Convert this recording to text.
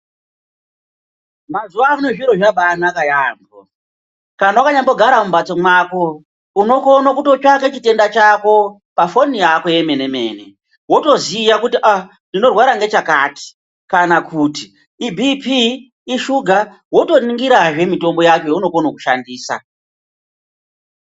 Mazuva ano zviro zvabai naka yambo kana waka nyambo gara mu mbatso mwako uno kone kuto tsvake chitenda chako pa foni yako ye mene mene woto ziya kuti aa ndino rwara nge chakati kana kuti ibhipi ishuga woto ningira zve mitombo yacho yauno kone kushandisa.